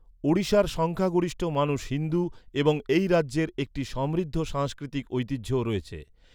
ওড়িশার সংখ্যাগরিষ্ঠ মানুষ হিন্দু এবং এই রাজ্যের একটি সমৃদ্ধ সাংস্কৃতিক ঐতিহ্যও রয়েছে।